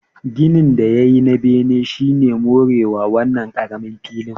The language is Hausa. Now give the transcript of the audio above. Ginin da ya yi na bene shi ne more wa wannan ƙaramin filin